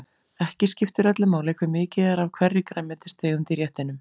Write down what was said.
Ekki skiptir öllu máli hve mikið er af hverri grænmetistegund í réttinum.